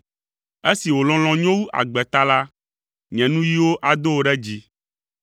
Esi wò lɔlɔ̃ nyo wu agbe ta la, nye nuyiwo ado wò ɖe dzi.